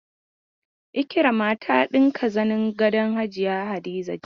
Ikirama ta ɗinke zanin gadon hajiya Hadiza jiya.